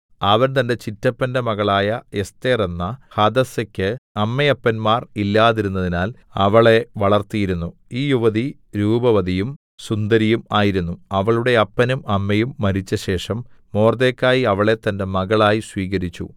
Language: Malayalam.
അവൻ തന്റെ ചിറ്റപ്പന്റെ മകളായ എസ്ഥേർ എന്ന ഹദസ്സയ്ക്ക് അമ്മയപ്പന്മാർ ഇല്ലാതിരുന്നതിനാൽ അവളെ വളർത്തിയിരുന്നു ഈ യുവതി രൂപവതിയും സുന്ദരിയും ആയിരുന്നു അവളുടെ അപ്പനും അമ്മയും മരിച്ചശേഷം മൊർദെഖായി അവളെ തന്റെ മകളായി സ്വീകരിച്ചു